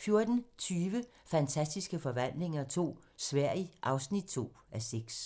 14:20: Fantastiske forvandlinger II - Sverige (2:6)